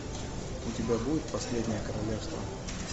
у тебя будет последнее королевство